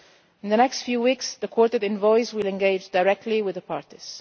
In the next few weeks the Quartet envoys will engage directly with the parties.